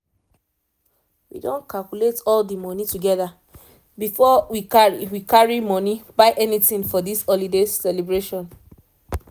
we don calculate all the money together before we carry we carry money buy anything for this holiday celebration